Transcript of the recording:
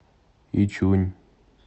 ичунь